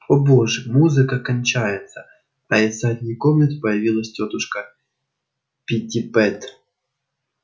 о боже музыка кончается а из задней комнаты появилась тётушка питтипэт